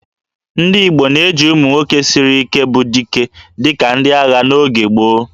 Ndị Igbo na-eji ụmụ nwoke siri Ike bụ 'Dike' dịka ndị agha n'oge gboo